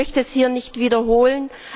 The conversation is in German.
Ich möchte das hier nicht wiederholen.